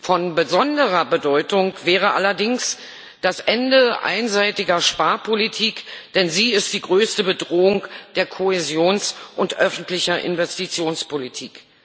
Von besonderer Bedeutung wäre allerdings das Ende einseitiger Sparpolitik, denn sie ist die größte Bedrohung der Kohäsions und öffentlichen Investitionspolitik.